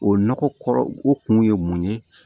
O nɔgɔ kɔrɔ o kun ye mun ye